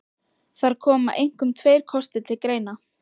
Þar koma einkum tveir kostir til greina.